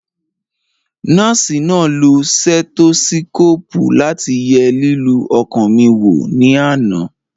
Nọ́ọ̀sì náà lo stẹ́tósíkòpù láti ye lílù ọkàn mi wò ní àná